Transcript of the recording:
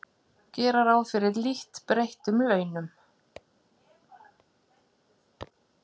Gera ráð fyrir lítt breyttum launum